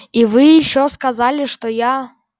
и вы ещё сказали что я